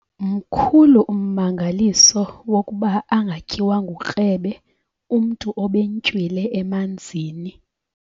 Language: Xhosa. Mkhulu ummangaliso wokuba angatyiwa ngukrebe umntu obentywile emanzini.